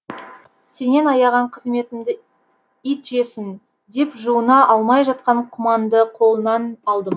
сенен аяған қызметімді ит жесін деп жуына алмай жатқан құманды қолынан алдым